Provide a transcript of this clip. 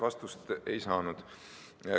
Vastust ei saanud.